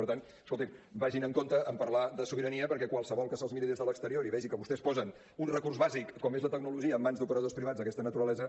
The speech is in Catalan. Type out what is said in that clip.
per tant escolti’m vagin amb compte amb parlar de sobirania perquè qualsevol que se’ls miri des de l’exterior i vegi que vostès posen un recurs bàsic com és la tecnologia en mans d’operadors privats d’aquesta naturalesa